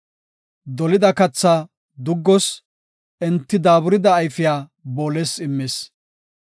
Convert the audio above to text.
Dolida kathaa duggos, enti daaburida ayfiya booles immis.